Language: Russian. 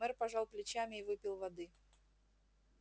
мэр пожал плечами и выпил воды